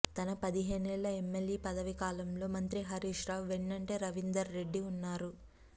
తన పదిహేనేళ్ల ఎమ్మెల్యే పదవీ కాలంలో మంత్రి హరీష్ రావు వెన్నంటే రవీందర్ రెడ్డి ఉన్నారు